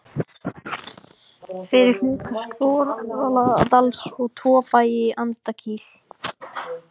fyrir hluta Skorradals og tvo bæi í Andakíl.